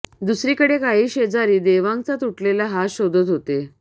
दुसरीकडे काही शेजारी देवांगचा तुटलेला हात शोधत होते